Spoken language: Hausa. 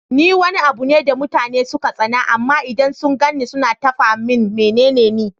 Ni Wani abune da mutane suka tsana amma idan sun gani suna tafa min menene Ni?